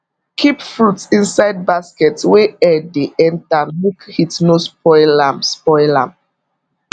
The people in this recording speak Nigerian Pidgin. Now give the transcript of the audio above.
keep fruit inside basket wey air dey enter make heat no spoil am spoil am